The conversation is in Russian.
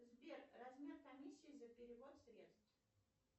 сбер размер комиссии за перевод средств